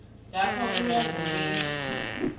lapho kuye ngobunengi